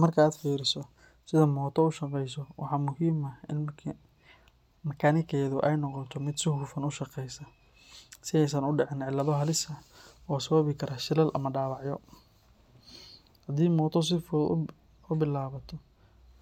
Marka aad fiiriso sida mooto u shaqayso, waxa muhiim ah in makaanikadeedu ay noqoto mid si hufan u shaqaysa, si aysan u dhicin cilado halis ah oo sababi kara shilal ama dhaawacyo. Haddii mooto si fudud u bilaabato,